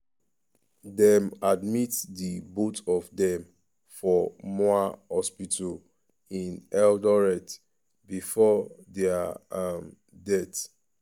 um dem admit di both of dem for moi um hospital in eldoret bifor dia um deaths.